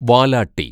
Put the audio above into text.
വാലാട്ടി